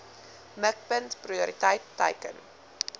mikpunt prioriteit teiken